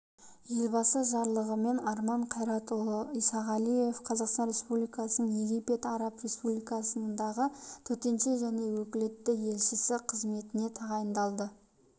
елбасы жарлығымен арман қайратұлы исағалиев қазақстан республикасының египет араб республикасындағы төтенше және өкілетті елшісі қызметіне тағайындалды